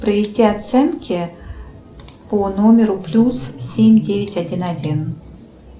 провести оценки по номеру плюс семь девять один один